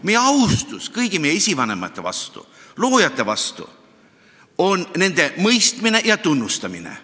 Meie austus kõigi meie esivanemate vastu, loojate vastu on nende mõistmine ja tunnustamine.